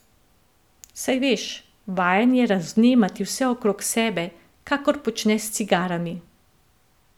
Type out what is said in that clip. Saj veš, vajen je razvnemati vse okrog sebe, kakor počne s cigarami.